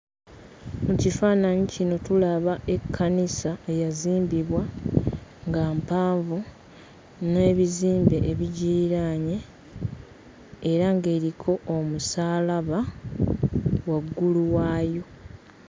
Mu kifaananyi kino tulaba ekkanisa eyazimbibwa nga mpanvu n'ebizimbe ebigiriraanye era ng'eriko omusaalaba waggulu waayo.